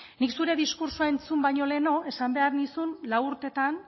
nik zure diskurtsoa entzun baino lehenago esan behar nizun lau urtetan